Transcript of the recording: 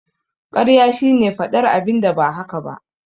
Karya shine faɗar abinda ba haka bane